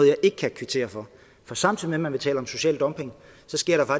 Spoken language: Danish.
jeg ikke kan kvittere for for samtidig med at man taler om social dumping